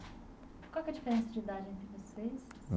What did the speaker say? Qual que é a diferença de idade entre vocês?